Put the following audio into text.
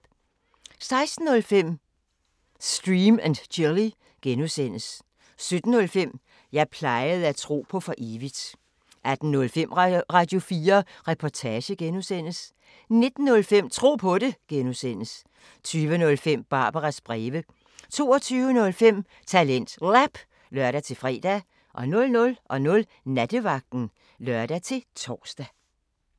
16:05: Stream & Chill (G) 17:05: Jeg plejede at tro på for evigt 18:05: Radio4 Reportage (G) 19:05: Tro på det (G) 20:05: Barbaras breve 22:05: TalentLab (lør-fre) 00:00: Nattevagten (lør-tor)